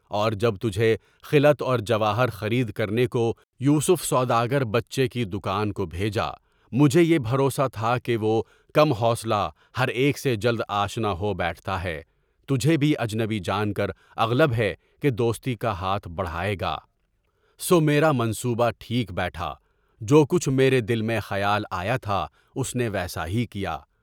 اور جب تجھے خلعت اور جواہر خرید کرنے کو یوسف سوداگر بچےکی، دکان کو بھیجا، مجھے یہ بھروسا تھا کہ وہ کم حوصلہ ہر ایک سے جلد آشنا ہو بیٹھتا ہے، تجھے بھی اجنبی جان کر اغلب ہے کہ دوستی کا ہاتھ بڑھائے گا، سو میرا منصوبہ ٹھیک بیٹھا، جو کچھ میرے دل میں خیال آیا تھا اس نے وہی کیا۔